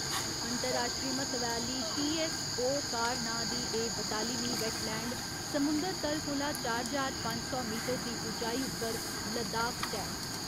अंतर्राश्ट्री म्हत्वै आह्‌ली टी.एस्स.ओ. कार नां दी एह् बतालिमीं वैटलैंड, समुंदर तल कोला चार ज्हार पंज सौ मीटर दी उचाई उप्पर लद्दाख च ऐ।